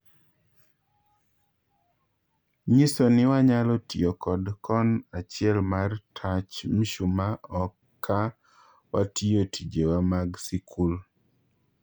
Nyisoni wanyalo tiyo kod kon achiel mar tach mshumaa o ka watiyo tijewa mag sikul'.